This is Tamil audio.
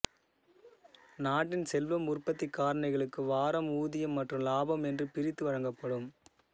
நாட்டின் செல்வம் உற்பத்திக் காரணிகளுக்கு வாரம் ஊதியம் மற்றும் லாபம் என்று பிரித்து வழங்கப்படும்